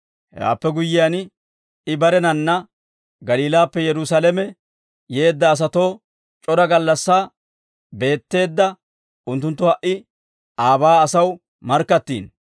Hewaappe guyyiyaan I barenanna Galiilaappe Yerusaalame yeedda asatoo c'ora gallassaa beetteedda unttunttu ha"i aabaa asaw markkattiino.